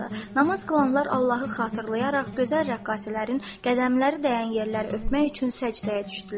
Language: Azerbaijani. Namaz qılanlar Allahı xatırlayaraq gözəl rəqqasələrin qədəmləri dəyən yerləri öpmək üçün səcdəyə düşdülər.